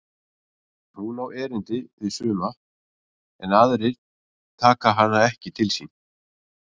Hún á erindi við suma en aðrir taka hana ekki til sín.